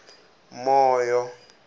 moyo